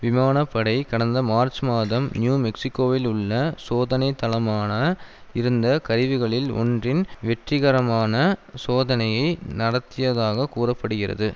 விமான படை கடந்த மார்ச் மாதம் நியூ மெக்சிகோவில் உள்ள சோதனைத்தளமான இருந்த கருவிகளில் ஒன்றின் வெற்றிகரமான சோதனையை நடத்தியதாகக் கூற படுகிறது